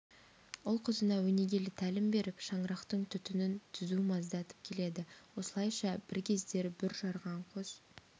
ұл-қызына өнегелі тәлім беріп шаңырақтың түтінін түзу маздатып келеді осылайша бір кездері бүр жарған қос